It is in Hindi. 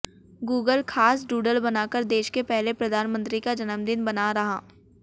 गूगल खास डूडल बनाकर देश के पहले प्रधानमंत्री का जन्मदिन मना रहा